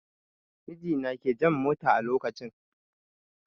Mijina ke jan motan a lokacin